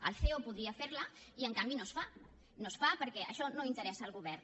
el ceo podria fer la i en canvi no es fa no es fa perquè això no interessa al govern